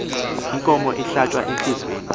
inkomo ihlatywa entliziyweni